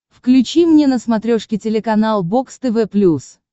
включи мне на смотрешке телеканал бокс тв плюс